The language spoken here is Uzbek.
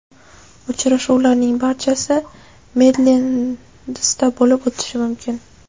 Uchrashuvlarning barchasi Midlendsda bo‘lib o‘tishi mumkin.